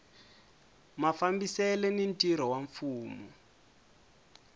mafambisele ni ntirho wa mfumo